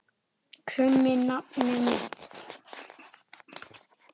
krummi nafni minn.